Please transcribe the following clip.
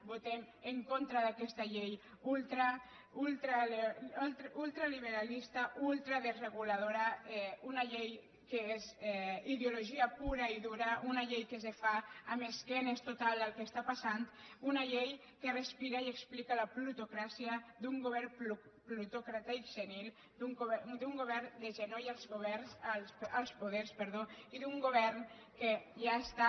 votem en contra d’aquesta llei ultraliberalista ultradesreguladora una llei que és ideologia pura i dura una llei que es fa d’esquenes total al que està passant una llei que respira i explica la plutocràcia d’un govern plutòcrata i senil d’un govern de genolls als poders i d’un govern que ja està